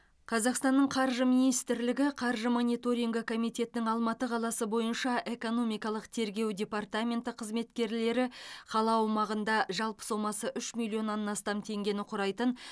қазақстанның қаржы министрлігі қаржы мониторингі комитетінің алматы қаласы бойынша экономикалық тергеу департаменті қызметкерлері қала аумағында жалпы сомасы үш миллион астам теңгені құрайтын